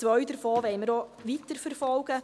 Zwei davon wollen wir weiterverfolgen.